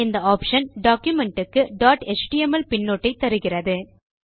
இந்த option document க்கு dot HTML பின்னொட்டை தருகிறது